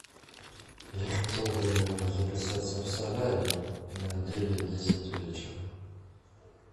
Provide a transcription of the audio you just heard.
я хотел бы записаться в солярий на девять десять вечера